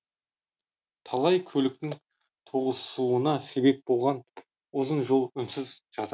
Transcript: талай көліктің тоғысуына себеп болған ұзын жол үнсіз жатыр